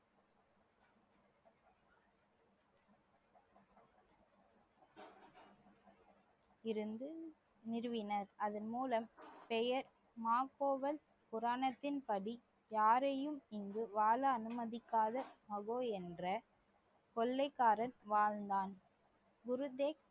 இருந்து நிறுவினர் அதன் மூலம் பெயர் மா கோவல் புராணத்தின் படி யாரையும் இங்கு வாழ அனுமதிக்காத மஹோ என்ற கொள்ளைக்காரன் வாழ்ந்தான் குருதேக்